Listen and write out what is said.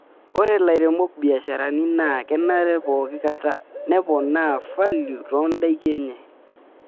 Ore lairemok biasharani naa kenare pookikata neponaa falio toondaiki enye.